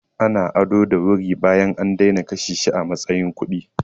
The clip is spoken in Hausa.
Ana ado da wuri bayan an daina kashe shi a matsayin kuɗi.